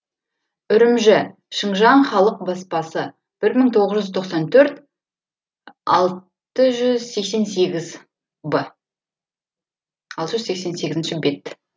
үрімжі шыңжаң халық баспасы бір мың тоғыз жүз тоқсан төрт алты жүз сексен сегіз б алты жүз сексен сегізінші бет